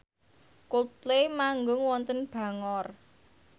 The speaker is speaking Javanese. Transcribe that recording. Coldplay manggung wonten Bangor